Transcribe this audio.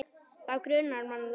Þá grunar mann það.